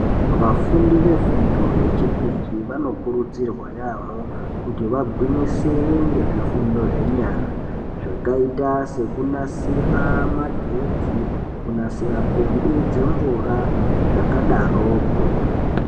Vafundi vefundo yechipiri vanokurudzirwa yaamho kuti vagwinyisire nezvifundo zvenyara. Zvakaita sekunasira magetsi kunasira pombi dzemvura zvakadaroko.